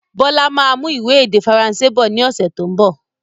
Bọlá máa mú ìwé èdè Faransé bọ̀ ni ọ̀sẹ̀ tó ń bọ̀.